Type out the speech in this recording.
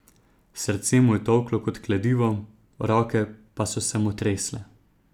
Srce mu je tolklo kot kladivo, roke pa so se mu tresle.